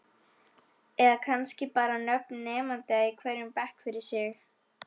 Eða kannski bara nöfn nemenda í hverjum bekk fyrir sig?